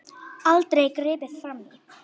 Aldrei gripið frammí.